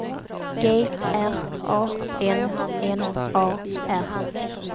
G R A N N A R